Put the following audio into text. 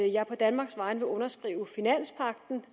jeg på danmarks vegne vil underskrive finanspagten